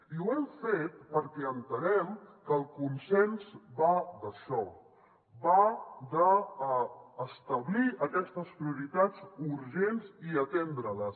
i ho hem fet perquè entenem que el consens va d’això va d’establir aquestes prioritats urgents i atendre les